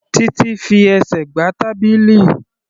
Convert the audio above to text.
Títí fi ẹsẹ̀ gbá tábìlì.